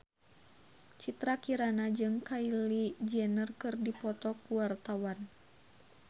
Citra Kirana jeung Kylie Jenner keur dipoto ku wartawan